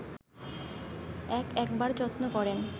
এক একবার যত্ন করেন